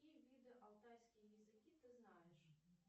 какие виды алтайские языки ты знаешь